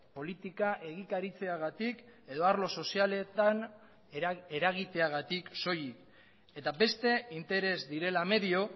politika egikaritzeagatik edo arlo sozialetan eragiteagatik soilik eta beste interes direla medio